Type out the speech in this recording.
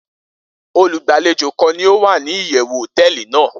Olugbalejo kan ni o wa ni iyewu hoteeli nàá